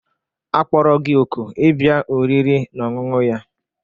Akpọrọ gị òkù ịbịa oriri na ọṅụṅụ ya?